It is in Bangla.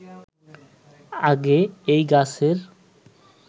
আগে এই গাছের